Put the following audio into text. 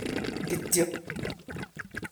kityo.''